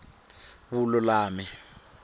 vululami